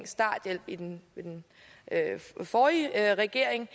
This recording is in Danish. starthjælp i den forrige regering